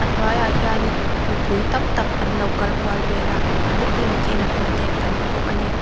hnuaiah hianin mipui tam tak an lo kal kual vel a booking tihna hmun te kan hmu bawk a ni.